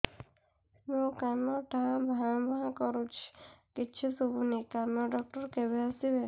ମୋ କାନ ଟା ଭାଁ ଭାଁ କରୁଛି କିଛି ଶୁଭୁନି କାନ ଡକ୍ଟର କେବେ ଆସିବେ